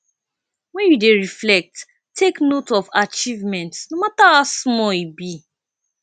when you dey reflect take note of achievements no matter how small e be